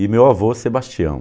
E meu avô, Sebastião.